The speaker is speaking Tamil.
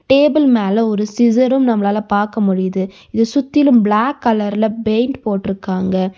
டேபிள் மேல ஒரு சிஸரு நம்ளால பாக்க முடியுது. இத சுத்திலு பிளாக் கலர்ல பெயிண்ட் போட்ருக்காங்க.